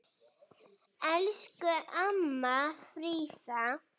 Elsku amma Fríða.